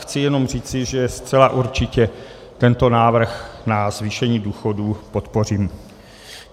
Chci jen říci, že zcela určitě tento návrh na zvýšení důchodů podpořím.